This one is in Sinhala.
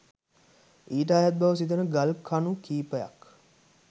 ඊට අයත් බව සිතන ගල් කණු කිහිපයක්